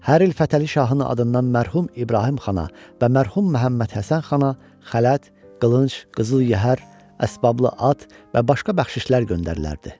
Hər il Fətəli şahın adından mərhum İbrahim xana və mərhum Məhəmməd Həsən xana xələt, qılınc, qızıl yəhər, əsbablı at və başqa bəxşişlər göndərilərdi.